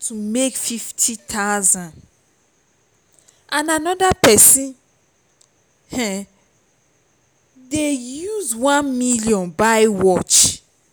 to make fifty thousand and another person um dey use one million buy watch